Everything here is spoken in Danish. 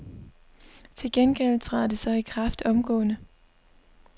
Til gengæld træder det så i kraft omgående.